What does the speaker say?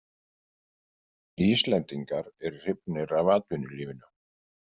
Íslendingar eru hrifnir af atvinnulífinu.